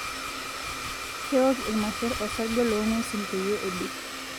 Kewok irmasher orsarge loong'wesin peiyie ebik.